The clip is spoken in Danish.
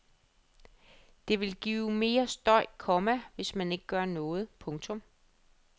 Det vil give mere støj, komma hvis man ikke gør noget. punktum